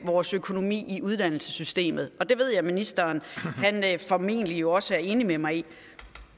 vores økonomi i uddannelsessystemet og det ved jeg at ministeren formentlig også er enig med mig i